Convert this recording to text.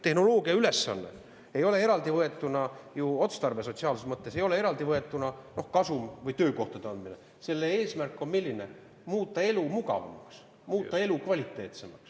Tehnoloogia ülesanne, otstarve sotsiaalses mõttes ei ole eraldivõetuna ju kasum või töökohtade, selle eesmärk on muuta elu mugavamaks, muuta elu kvaliteetsemaks.